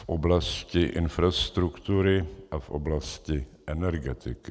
V oblasti infrastruktury a v oblasti energetiky.